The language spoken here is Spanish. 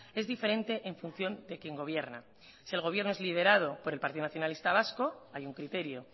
es diferente en función de quien gobierna si el gobierno es liderado por el partido nacionalista vasco hay un criterio